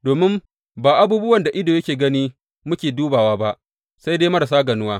Domin ba abubuwan da ido yake gani ne muke dubawa ba, sai dai marasa ganuwa.